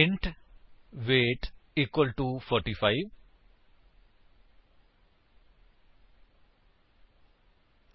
int weight equal to 45160